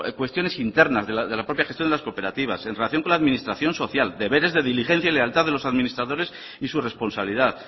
cuestiones internas de la propia gestión de las cooperativas en relación con la administración social deberes de diligencia y lealtad de los administradores y su responsabilidad